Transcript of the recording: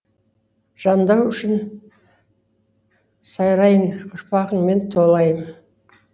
жандану үшін сарайың ұрпағыңмен толайым